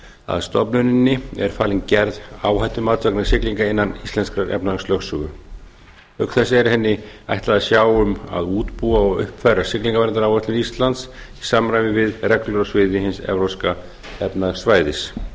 að stofnuninni er falin gerð áhættumats vegna siglingar innan íslenskrar efnahagslögsögu auk þess er henni ætlað að sjá um að útbúa og uppfæra siglingaverndaráætlun íslands í samræmi við reglur á sviði hins evrópska efnahagssvæðis